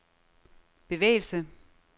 bevægelse